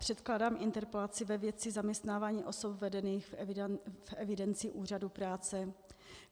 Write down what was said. Předkládám interpelaci ve věci zaměstnávání osob vedených v evidenci úřadu práce.